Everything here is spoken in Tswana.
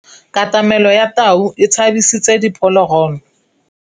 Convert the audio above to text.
Katamêlô ya tau e tshabisitse diphôlôgôlô.